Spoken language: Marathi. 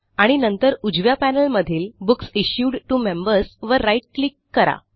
आणि नंतर उजव्या पॅनेलमधील बुक्स इश्यूड टीओ मेंबर्स वर राईट क्लिक करा